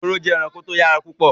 Ehoro jẹ́ ẹranko tó yára púpọ̀